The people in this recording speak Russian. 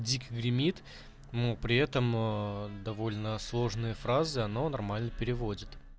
дико гремит при этом довольно сложные фразы но нормально переводит